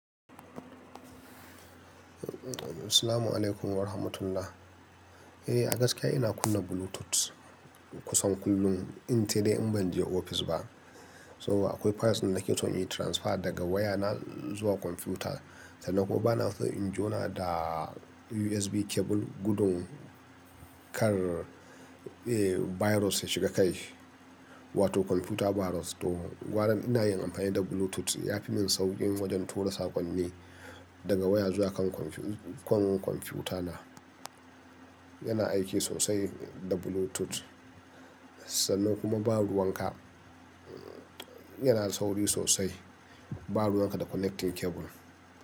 Eh, a gaskiya ina kunna Bluetooth kusan kullum in dai in ban je ofis ba. Saboda akwai files da nake so in yi transfer daga waya na zuwa kwamfuta, sannan kuma bana so in jona da USB cable gudun kar, eh, virus ya shiga kai, wato kwamfuta virus. To, gwaran ina yin amfani da Bluetooth ya fi min sauƙi wajen tura saƙonni daga waya zuwa kan kwamfuta na. Yana aiki sosai da Bluetooth. Sannan kuma ba ruwan ka, yana da sauri sosai ba ruwan ka da connecting cable.